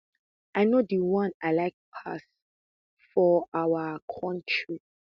i know di one i like pass for our our kontri